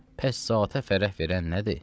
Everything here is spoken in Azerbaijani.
Pəs zatə fərəh verən nədir?